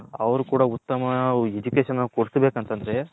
ಅವರು ಕೂಡ ಉತ್ತಮ Education ಕೊಡಸಬೇಕು ಅಂತಾದ್ರೆ.